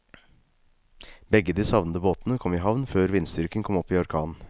Begge de savnede båtene kom i havn før vindstyrken kom opp i orkan.